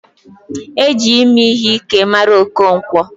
E ji ime ihe Ike mara Okonkwo.